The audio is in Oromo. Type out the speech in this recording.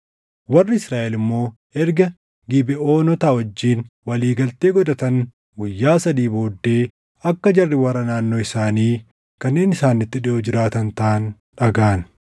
Warri Israaʼel immoo erga Gibeʼoonota wajjin walii galtee godhatan guyyaa sadii booddee akka jarri warra naannoo isaanii kanneen isaanitti dhiʼoo jiraatan taʼan dhagaʼan.